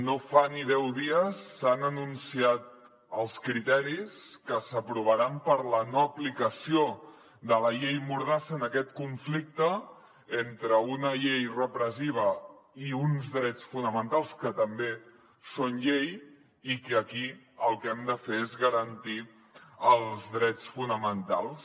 no fa ni deu dies s’han anunciat els criteris que s’aprovaran per a la no aplicació de la llei mordassa en aquest conflicte entre una llei repressiva i uns drets fonamentals que també són llei i que aquí el que hem de fer és garantir els drets fonamentals